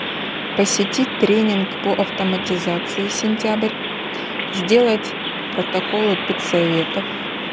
посетить тренинг по автоматизации сентябрь сделать протоколы педсоветов